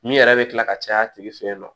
Min yɛrɛ bɛ kila ka caya a tigi fɛ yen nɔ